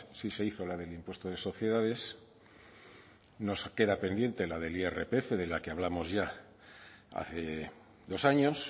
sí se hizo la del impuesto de sociedades nos queda pendiente la del irpf de la que hablamos ya hace dos años